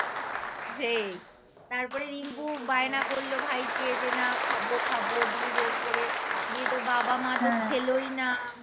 হেই তারপরে রিংকু বায়না করলো ভাইকে যে না খাবো খাবো গিয়ে জোর করে গিয়ে তো বাবা মা তো খেলোই না